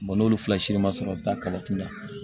n'olu fila si ma sɔrɔ taa kala kun na